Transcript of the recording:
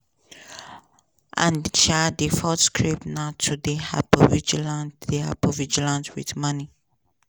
and um di fourth script na to dey hypervigilant dey hypervigilant wit money.